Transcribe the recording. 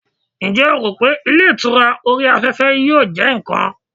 njé o ro pe ilé ìtura ori afefe yíò je nkan